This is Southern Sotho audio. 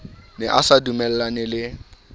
ne a sa dumellane le